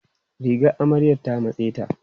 Rigar amaryan ta matse ta.